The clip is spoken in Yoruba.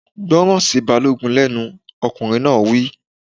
Gbọ́rọ̀ sí Balógun lẹ́nu! Ọkùnrin náà wí.